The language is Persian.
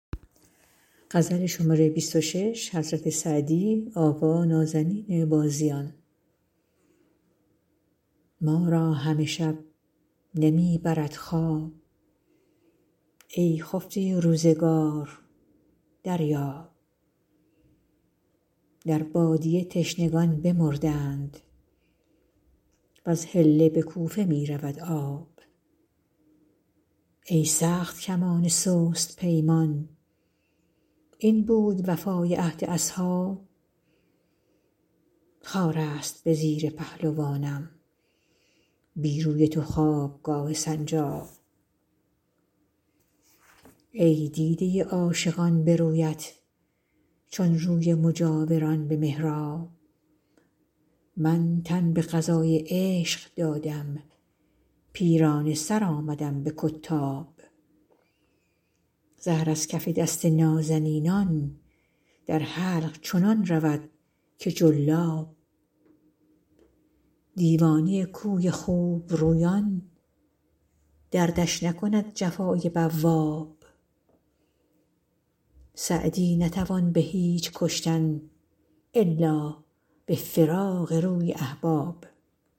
ما را همه شب نمی برد خواب ای خفته روزگار دریاب در بادیه تشنگان بمردند وز حله به کوفه می رود آب ای سخت کمان سست پیمان این بود وفای عهد اصحاب خار است به زیر پهلوانم بی روی تو خوابگاه سنجاب ای دیده عاشقان به رویت چون روی مجاوران به محراب من تن به قضای عشق دادم پیرانه سر آمدم به کتاب زهر از کف دست نازنینان در حلق چنان رود که جلاب دیوانه کوی خوبرویان دردش نکند جفای بواب سعدی نتوان به هیچ کشتن الا به فراق روی احباب